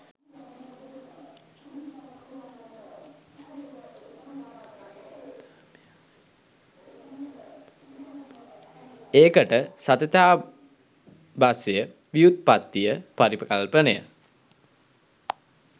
ඒකට සතතාභ්‍යාසය ව්‍යුත්පත්තිය පරිකල්පනය